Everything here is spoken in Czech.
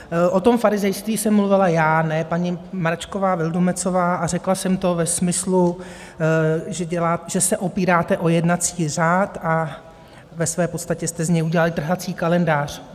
O tom farizejství jsem mluvila já, ne paní Mračková Vildumetzová, a řekla jsem to ve smyslu, že se opíráte o jednací řád a ve své podstatě jste z něj udělali trhací kalendář.